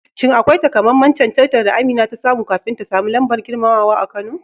Shin akwai takamaiman cancantar da Amina ta samu kafin ta sami lambar girmamawa a Kano?